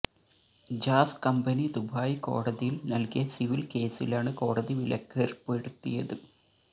jazz company Dubai കോടതിയില് നല്കിയ civil കേസിലാണ് കോടതി വിലക്കേര്പ്പെടുത്തിയത്